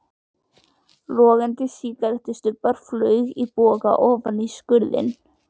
Logandi sígarettustubbur flaug í boga ofan í skurðinn.